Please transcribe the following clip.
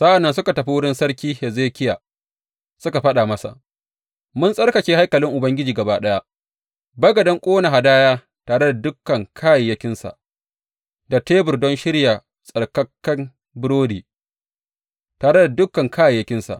Sa’an nan suka tafi wurin Sarki Hezekiya suka faɗa masa, Mun tsarkake haikalin Ubangiji gaba ɗaya, bagaden ƙone hadaya tare da dukan kayayyakinsa, da tebur don shirya tsarkaken burodi, tare da dukan kayayyakinsa.